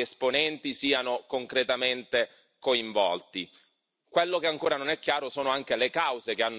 esponenti siano concretamente coinvolti.